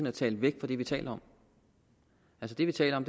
at tale væk fra det vi taler om det vi taler om